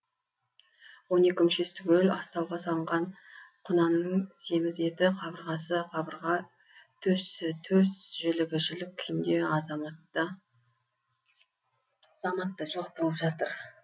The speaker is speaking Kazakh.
он екі мүшесі түгел астауға салынған құнанның семіз еті қабырғасы қабырға төсі төс жілігі жілік күйінде заматта жоқ болып жатыр